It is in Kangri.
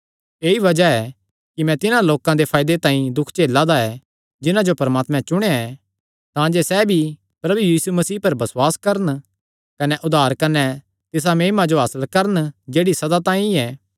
ऐई बज़ाह ऐ कि मैं तिन्हां लोकां दे फायदे तांई दुख झेला दा ऐ जिन्हां जो परमात्मे चुणेया ऐ तांजे सैह़ भी प्रभु यीशु मसीह पर बसुआस करन कने उद्धार कने तिसा महिमा जो हासल करन जेह्ड़ी सदा तांई ऐ